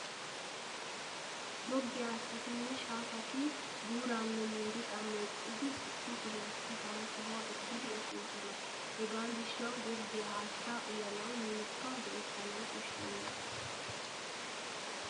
Goggiyaa haattatinne shaafati buuraanne miiriqaa meeccidi issi sohuwaappe hara sohuwaa ekkidi efoosona. Hegaa gishshawu goggiyaa haattaa uyanawu mulekka go'ettanawu koshshenna.